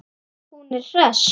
Hún er hress.